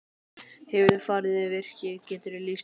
Hefurðu farið um virkið, geturðu lýst því?